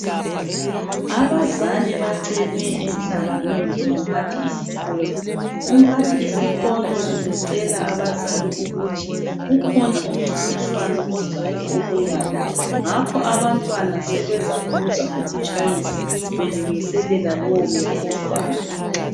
Abazali bacelwe emhlanganweni ngumphathi isikolo. Umphathi isikolo ubecela abazali ukuthi ukhona umncintiswano ozayo obuyayo ngakho abantwana sebezaphuza ukutshayisa belungiselela lowo mncintiswano.